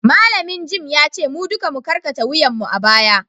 malamin gem ya ce mu duka mu karkata wuyanmu a baya